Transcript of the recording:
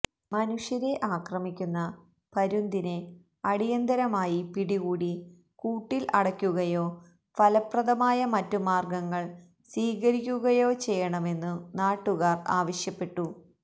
മനുഷ്യരെ ആക്രമിക്കുന്ന പരുന്തിനെ അടിന്തരമായി പിടികൂടി കൂട്ടില് അടയ്ക്കുകയോ ഫലപ്രദമായ മറ്റുമാര്ഗങ്ങള് സ്വീകരിക്കുകയോ ചെയ്യണമെന്നു നാട്ടുകാര് ആവശ്യപ്പെട്ടു